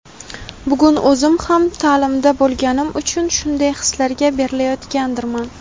bugun o‘zim ham taʼlimda bo‘lganim uchun shunday hislarga berilayotgandirman.